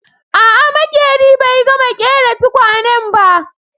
A'a maƙerin bai gama ƙera tukwanen ba